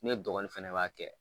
Ne dɔgɔnin fɛnɛ b'a kɛ.